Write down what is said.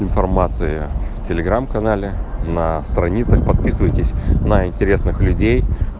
информация в телеграм канале на страницах подписывайтесь на интересных людей